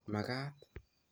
Makaat